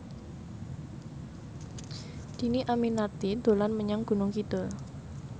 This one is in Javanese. Dhini Aminarti dolan menyang Gunung Kidul